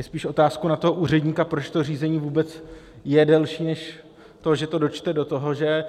Je spíš otázkou na toho úředníka, proč to řízení vůbec je delší, než to, že to dočte do toho, že